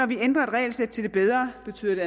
vi ændrer et regelsæt til det bedre betyder